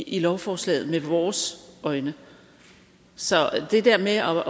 i lovforslaget med vores øjne så det der med at